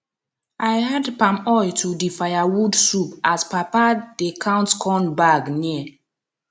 i add palm oil to di firewood soup as papa dey count corn bag near